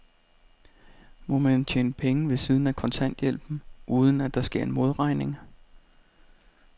Må man tjene penge ved siden af kontanthjælpen, uden at der sker en modregning?